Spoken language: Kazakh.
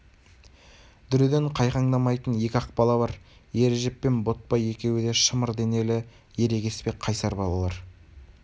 дүреден қайқаңдамайтын екі-ақ бала бар ережеп пен ботбай екеуі де шымыр денелі ерегеспе қайсар балалар